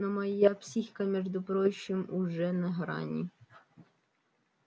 но моя психика между прочим уже на грани